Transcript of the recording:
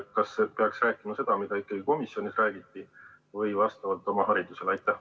Kas peaks rääkima seda, mida komisjonis räägiti, või vastavalt oma haridusele?